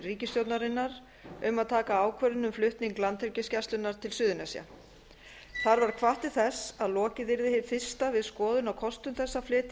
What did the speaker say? ríkisstjórnarinnar um að taka ákvörðun um flutning landhelgisgæslunnar á suðurnes þar var hvatt til þess að lokið yrði hið fyrsta við skoðun á kostum þess að flytja